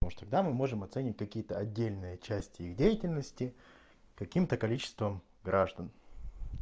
а уж тогда мы можем оценивать какие-то отдельные части их деятельности каким-то количеством граждан